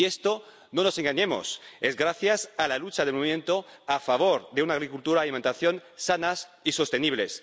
Y esto —no nos engañemos— es gracias a la lucha del movimiento a favor de una agricultura y una alimentación sanas y sostenibles.